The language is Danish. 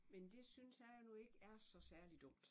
Men det synes jeg nu ikke er så særlig dumt